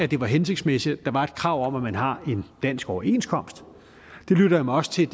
det var hensigtsmæssigt at der var et krav om at man har en dansk overenskomst jeg lyttede mig også til